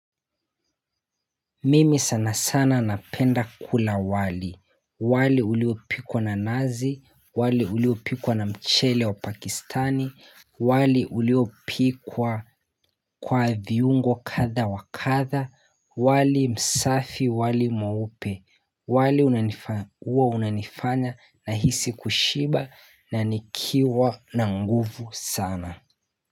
Mimi sana sana napenda kula wali, wali uliopikwa na nazi, wali uliopikwa na mchele wa pakistani, wali uliopikwa kwa viungo kadha wa kadha, wali msafi, wali mweupe, wali huwa unanifanya nahisi kushiba na nikiwa na nguvu sana.